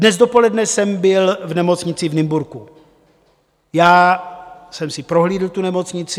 Dnes dopoledne jsem byl v nemocnici v Nymburku, já jsem si prohlídl tu nemocnici.